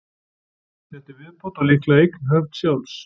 Þetta er viðbót, og líklega eign höf. sjálfs.